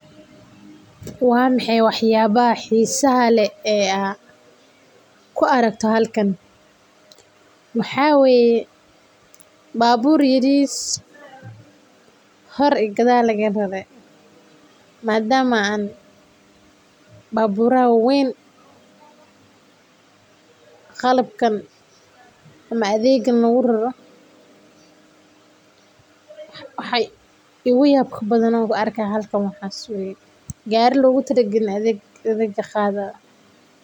Waa maxay wax yaabah xiisa leh oo aad ku aragto halkan waxaa waye baburr yariis ah oo hor iyo gadaal laga rare madama gariyasha weyn lagu rari.